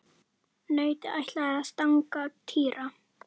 Nautið ætlaði að stanga Týra.